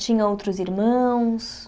Tinha outros irmãos?